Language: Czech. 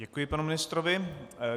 Děkuji panu ministrovi.